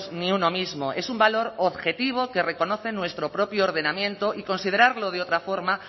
ni uno mismo es un valor objetivo que reconoce nuestro propio ordenamiento y considerarlo de otra forma